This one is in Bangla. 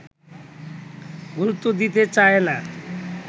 গুরুত্ব দিতে চায় না